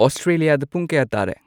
ꯑꯁꯇ꯭ꯔꯦꯂꯤꯌꯥꯗ ꯄꯨꯡ ꯀꯌꯥ ꯇꯥꯔꯦ